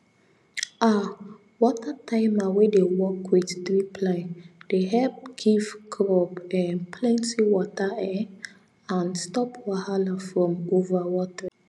um water timer wey dey work with drip line de help give crop um plenty water um and stop wahala from overwatering